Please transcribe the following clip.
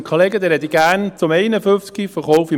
Ich spreche gerne zum Traktandum 51, «Verkauf [...